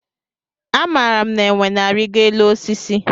Amara m na enwe na arigo élú osisi.